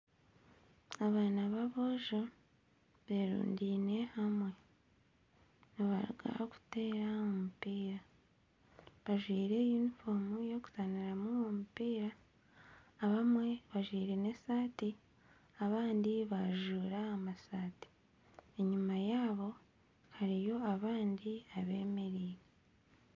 Abaana baboojo berundaine hamwe nibaruga kuteera omupiira bajwaire unifoomu ey'okuzaniramu omupiira abamwe bajwaire esaati abandi bajuura amasaati enyuma yaabo hariyo abandi abemereire .